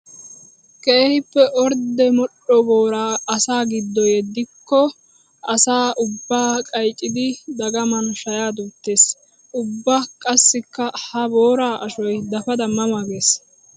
Keehippe ordde modhdho boora asaa giddo yeddigikko asaa ubba qaycciddi dagaman shaya duutes. Ubba qassikka ha boora ashoy dafadda ma ma gees.